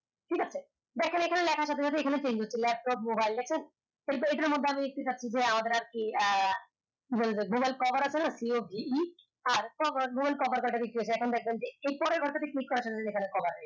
লেখা থাকবে এইখানে change হচ্ছে laptop mobile মধ্যে আমি আমরা কি আহ mobile cover আছে না c o v e r mobile cover কয়টা বিক্রি কয়টা বিক্রি হয়ছে এখন দেখলাম যে এই পরে এখানে cover